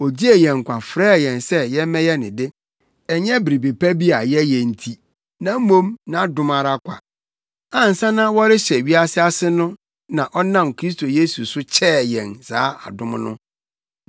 Ogyee yɛn nkwa frɛɛ yɛn se yɛmmɛyɛ ne de. Ɛnyɛ biribi pa bi a yɛyɛ nti, na mmom nʼadom ara kwa. Ansa na wɔrehyɛ wiase ase no na ɔnam Kristo Yesu so kyɛɛ yɛn saa adom no,